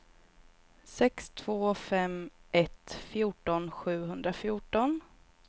sex två fem ett fjorton sjuhundrafjorton